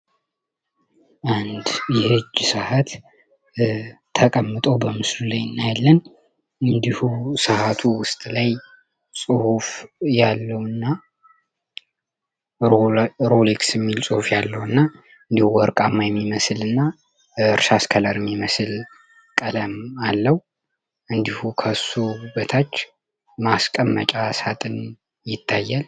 አንድ ይህጅ ሰዓት ተቀምጠው በምስሉ ላይ ንያለን እንዲሁ ሰዓቱ ውስጥ ላይ ጽሑፍ ያለው እና ሮሊክስ ሚል ጽሑፍ ያለው እና እንዲሁ ወርቃማ የሚመስል እና እርሻስከለርሚ የመስል ቀለም አለው እንዲሁ ከሶ በታች ማስቀመጫ ሳጥን ይታየል